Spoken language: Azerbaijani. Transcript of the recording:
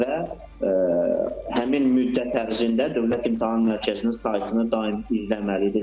Və həmin müddət ərzində Dövlət İmtahan Mərkəzinin saytını daim izləməlidirlər.